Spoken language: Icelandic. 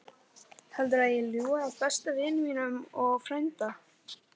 Heldurðu að ég ljúgi að besta vini mínum og frænda?